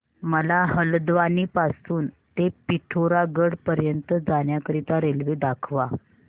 मला हलद्वानी पासून ते पिठोरागढ पर्यंत जाण्या करीता रेल्वे दाखवा